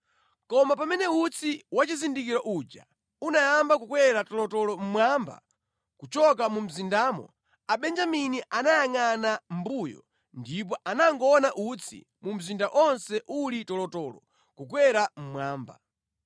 Koma pamene utsi wa chizindikiro uja unayamba kukwera tolotolo mmwamba kuchoka mu mzindamo, Abenjamini anayangʼana mʼmbuyo ndipo anangoona utsi mu mzinda onse uli tolotolo kukwera mmwamba.